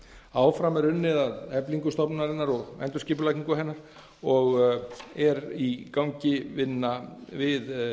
áfram er unnið að eflingu stofnunarinnar og endurskipulagningu hennar og er í gangi vinna við